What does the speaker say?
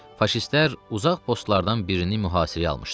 Faşistlər uzaq postlardan birini mühasirəyə almışdılar.